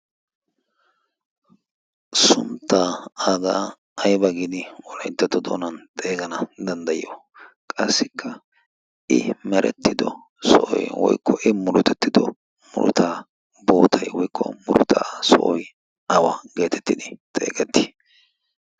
sunttaa agaa ayba gin wolaittatto doonan xeegana danddayiyo qassikka i merettido so'oy woykko i muretettido murtaa bootai woikko murutaa sooi awa' geetettid xeegettii?